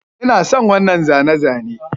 Ina son wannan zane-zane